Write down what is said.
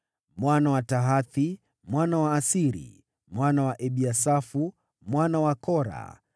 mwana wa Tahathi, mwana wa Asiri, mwana wa Ebiasafu, mwana wa Kora,